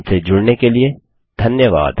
हमसे जुड़ने के लिए धन्यवाद